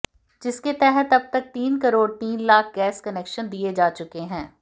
जिसके तहत अब तक तीन करोड़ तीन लाख गैस कनेक्शन दिए जा चुके हैं